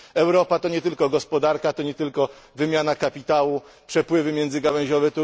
Europa to nie tylko gospodarka, to nie tylko wymiana kapitału, przepływy międzygałęziowe.